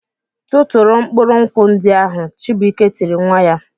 "Tụtụrụ mkpụrụ nkwụ ndị ahụ!" Chibuike tiri nwa ya.